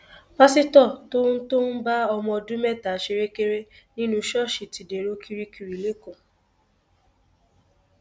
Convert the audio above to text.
pásítọ tó tó ń bá ọmọ ọdún mẹta ṣerékeré nínú ṣọọṣì ti dèrò kirikiri lẹkọọ